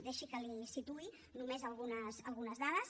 deixi que li’n situï només algunes dades